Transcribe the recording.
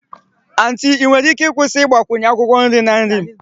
Aunty ị nwere ike ịkwụsị ịgbakwunye akwụkwọ nri na nri m?